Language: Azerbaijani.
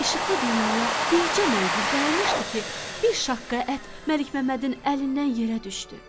İşıqlı dünyaya bircə mənzil qalmışdı ki, bir şaqqa ət Məlik Məmmədin əlindən yerə düşdü.